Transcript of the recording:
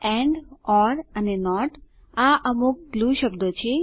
and or અને not આ અમુક glue શબ્દો છે